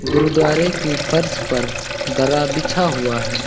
गुरुद्वारे की फर्श पर दरा बिछा हुआ है।